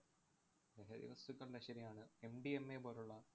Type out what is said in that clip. ലഹരി വസ്തുക്കളുടെ ശരിയാണ്. MDMA പോലുള്ള